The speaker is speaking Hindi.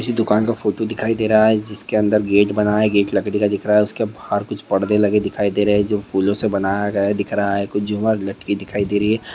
दुकान का फोटो दिखाई दे रहा है। जिसके अंदर गेट बनाए गेट लकड़ी का दिख रहा है। उसके बाहर कुछ पढ़ने लगे दिखाई दे रहे हैं। जो फूलों से बनाया गया दिख रहा है । दिखाई दे रही है।